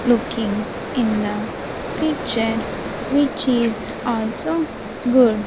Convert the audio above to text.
Looking in the picture which is also good.